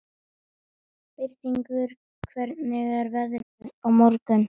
Birtingur, hvernig er veðrið á morgun?